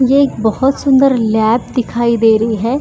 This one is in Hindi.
यह एक बहुत सुंदर लैब दिखाई दे रही है।